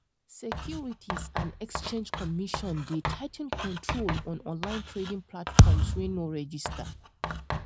securities and exchange commission dey tigh ten control on online trading platforms wey no register